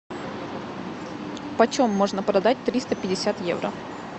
почем можно продать триста пятьдесят евро